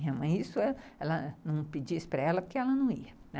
Minha mãe não pedia isso para ela porque ela não ia, né.